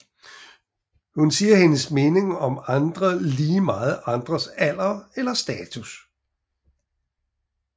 Hun siger hendes mening om andre lige meget andres alder eller status